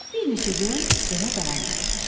Bir neçə gün belə davam eləyir.